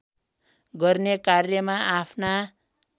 गर्ने कार्यमा आफ्ना